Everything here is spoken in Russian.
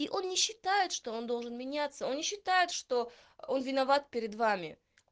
и он не считает что он должен меняться он не считает что он виноват перед вами